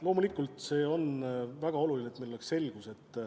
Loomulikult see on väga oluline, et meil oleks selgus.